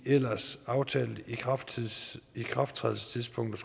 ellers aftalte ikrafttrædelsestidspunkt